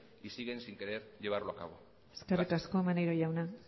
y siguen sin querer llevarlo a cabo gracias eskerrik asko maneiro jauna